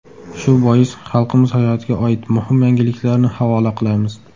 Shu bois xalqimiz hayotiga oid muhim yangiliklarni havola qilamiz.